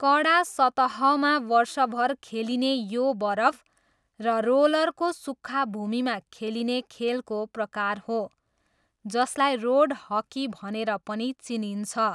कडा सतहमा वर्षभर खेलिने यो बरफ र रोलरको सुक्खा भूमिमा खेलिने खेलको प्रकार हो, जसलाई रोड हकी भनेर पनि चिनिन्छ।